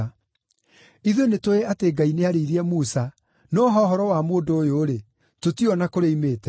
Ithuĩ nĩtũũĩ atĩ Ngai nĩarĩirie Musa, no ha ũhoro wa mũndũ ũyũ-rĩ, tũtiũĩ o na kũrĩa oimĩte.”